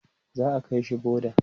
za'a kaishi boda